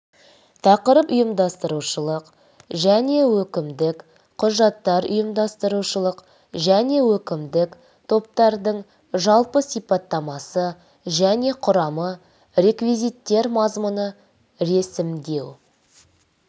тақырып ұйымдастырушылық және өкімдік құжаттар ұйымдастырушылық және өкімдік топтардың жалпы сипаттамасы және құрамы реквизиттер мазмұны ресімдеу